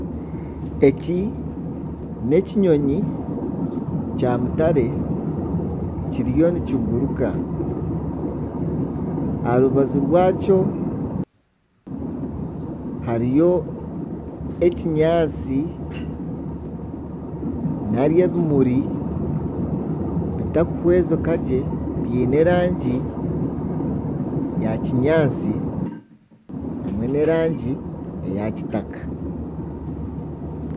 Eki n'ekinyonyi kya mutare kiriyo nikiguruka. Aha rubaju rwakyo hariyo ekinyaatsi nari ebimuri bitakuhwezeka gye, biine erangi ya kinyaatsi hamwe n'erangi eya kitaka.